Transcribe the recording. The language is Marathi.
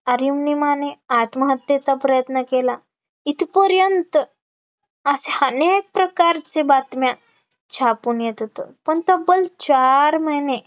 अरुणिमाने आत्महत्येचा प्रयत्न केला इथपर्यंत, असे अनेक प्रकारचे बातम्या छापून येत होतं, पण तब्बल चार महिने